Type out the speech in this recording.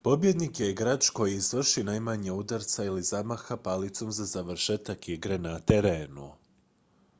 pobjednik je igrač koji izvrši najmanje udaraca ili zamaha palicom za završetak igre na terenu